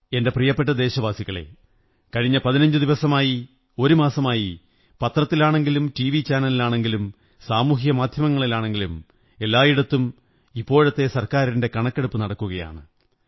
എന്റെ പ്രിയപ്പെട്ട ദേശവാസികളേ കഴിഞ്ഞ പതിനഞ്ചു ദിവസമായി ഒരുമാസമായി പത്രത്തിലാണെങ്കിലും ടിവി ചാനലിലാണെങ്കിലും സാമൂഹിക മാധ്യങ്ങളിലാണെങ്കിലും എല്ലായിടത്തും ഇപ്പോഴത്തെ സര്ക്കാ രിന്റെ കണക്കെടുപ്പു നടക്കുകയാണ്